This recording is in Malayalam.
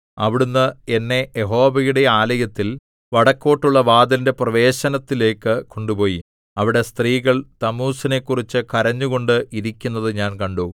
അവിടുന്ന് എന്നെ യഹോവയുടെ ആലയത്തിൽ വടക്കോട്ടുള്ള വാതിലിന്റെ പ്രവേശനത്തിലേക്ക് കൊണ്ടുപോയി അവിടെ സ്ത്രീകൾ തമ്മൂസിനെക്കുറിച്ച് കരഞ്ഞുകൊണ്ട് ഇരിക്കുന്നത് ഞാൻ കണ്ടു